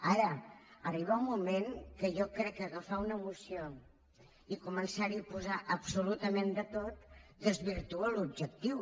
ara arriba un moment que jo crec que agafar una moció i començar hi a posar absolutament de tot desvirtua l’objectiu